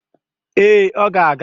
Ee, ọ ga-aga